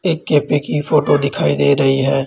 एक कैफ़े की फोटो दिखाई दे रही है।